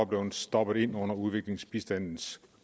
blevet stoppet ind under udviklingsbistandens